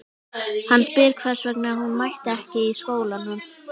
Hann spyr hvers vegna hún mæti ekki í skólanum.